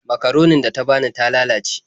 Makaronin da ta bani ta lalace.